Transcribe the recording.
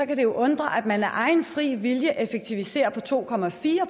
det jo undre at man af egen fri vilje effektiviserer med to